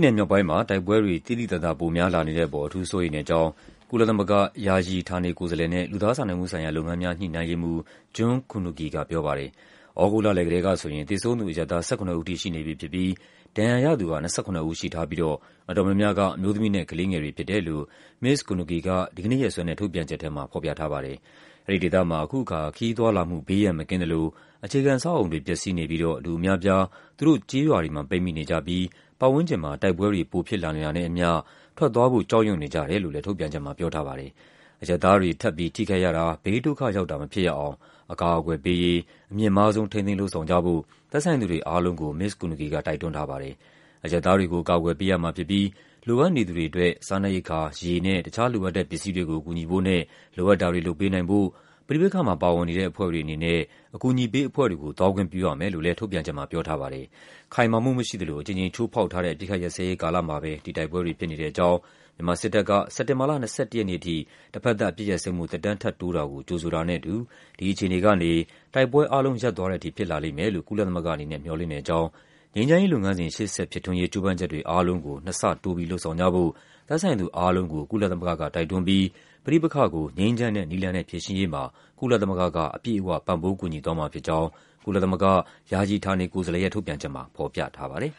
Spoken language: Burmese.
နယ်မြောက်ပိုင်းမှာ တိုက်ပွဲတွေ သိသိသာသာ ပိုများလာနေတဲ့အပေါ် အထူးစိုးရိမ် တဲ့အကြောင်း ကုလသမဂ္ဂ ယာယီ ဌာနေကိုယ်စားလှယ်နဲ့ လူသားစာနာမှုဆိုင်ရာလုပ်ငန်းများ ညှိနှိုင်းရေးမှူး June Kunugi က ပြောပါတယ်။ သြဂုတ်လလည်ကတည်းကဆိုရင် သေဆုံးသူ အရပ်သား ၁၇ ဦးထိ ရှိနေပြီဖြစ်ပြီး ဒဏ်ရာရသူက ၂၇ ဦးရှိထားပြီးတော့ အတော် များများက အမျိုးသမီးနဲ့ ကလေးငယ်တွေဖြစ်တယ်လို့ မစ္စ Kunugi က ဒီကနေ့ရက်စွဲနဲ့ ထုတ်ပြန်ချက်ထဲမှာ ဖော်ပြထားပါတယ်။ အဲဒီဒေသမှာ အခုအခါ ခရီးသွားလာမှု ဘေးရန်မကင်းသလို အခြေခံအဆောက်အအုံတွေ ပျက်စီးနေပြီးတော့ လူအများအပြား သူတို့ကျေးရွာတွေမှာ ပိတ်မိနေကြပြီး သူတို့ပတ်ဝန်းကျင်မှာ တိုက်ပွဲတွေ ပိုဖြစ်လာနေတာနဲ့အမျှ ထွက်သွားဖို့ ကြောက်ရွံ့နေကြ တယ်လို့လည်း ထုတ်ပြန်ချက်မှာ ပြောထားပါတယ်။ အရပ်သားတွေ ထပ်ပြီး ထိခိုက်ရတာ၊ ဘေးဒုက္ခရောက်တာ မဖြစ်ရအောင် အကာအကွယ်ပေးရေး အမြင့်မားဆုံး ထိန်းသိမ်း လုပ်ဆောင်ကြဖို့ သက်ဆိုင်သူတွေအားလုံးကို မစ္စ Kunugi က တိုက်တွန်း ထားပါတယ်။ အရပ်သားတွေကို အကာအကွယ်ပေးရမှာဖြစ်ပြီး လိုအပ်နေသူတွေအတွက် စားနပ်ရိက္ခာ၊ ရေနဲ့ တခြားလိုအပ်တဲ့ပစ္စည်းတွေကို ကူညီဖို့နဲ့ လိုအပ်တာတွေ လုပ်ပေးနိုင်ဖို့ ပဋိပက္ခမှာပါဝင်နေတဲ့ အဖွဲ့တွေအနေနဲ့ အကူအညီပေးအဖွဲ့တွေကို သွားခွင့်ပြုရမယ်လို့ လည်း ထုတ်ပြန်ချက်မှာ ပြောထားပါတယ်။ ခိုင်မာမှုမရှိသလို အကြိမ်ကြိမ်ချိုးဖောက်ထားတဲ့ အပစ်အခတ်ရပ်စဲရေး ကာလမှာပဲ ဒီတိုက်ပွဲတွေ ဖြစ်နေတဲ့အကြောင်း၊ မြန်မာ စစ်တပ်က စက်တင်ဘာလ ၂၁ ရက်နေ့အထိ တဘက်သပ် အပစ်ရပ်စဲမှု သက်တမ်း ထပ်တိုးတာကို ကြိုဆိုတာနဲ့အတူ ဒီအခြေ အနေကနေ တိုက်ပွဲအားလုံး ရပ်သွားတဲ့အထိ ဖြစ်လာလိမ့်မယ်လို့ ကုလသမဂ္ဂအနေနဲ့ မျှော်လင့်တဲ့အကြောင်း၊ ငြိမ်းချမ်းရေး လုပ်ငန်းစဉ် ရှေ့ဆက် ဖြစ်ထွန်းရေး ကြိုးပမ်းချက်တွေအားလုံးကို နှစ်ဆတိုးလုပ်ဆောင်ကြဖို့ သက်ဆိုင်သူအားလုံးကို ကုလသမဂ္ဂ က တိုက်တွန်းပြီး ပဋိပက္ခကို ငြိမ်းချမ်းတဲ့နည်းလမ်းနဲ့ ဖြေရှင်းရေးမှာ ကုလသမဂ္ဂက အပြည့်အဝ ပံ့ပိုးကူညီသွားမှာဖြစ်ကြောင်း ကုလသမဂ္ဂ ယာယီ ဌာနေကိုယ်စားလှယ်ရဲ့ ထုတ်ပြန်ချက်မှာ ဖော်ပြထားပါတယ်။